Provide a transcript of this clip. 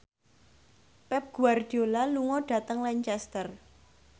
Pep Guardiola lunga dhateng Lancaster